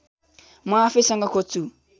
म आफैसँग खोज्छु